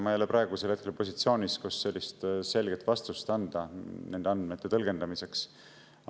Ma praegusel hetkel ei ole, et sellist selget vastust anda nende andmete tõlgendamiseks.